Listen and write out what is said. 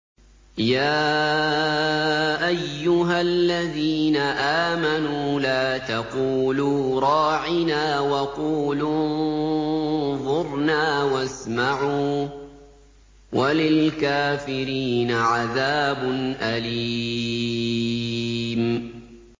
يَا أَيُّهَا الَّذِينَ آمَنُوا لَا تَقُولُوا رَاعِنَا وَقُولُوا انظُرْنَا وَاسْمَعُوا ۗ وَلِلْكَافِرِينَ عَذَابٌ أَلِيمٌ